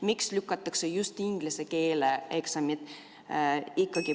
Miks lükatakse just inglise keele eksamit?